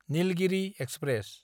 Nilgiri express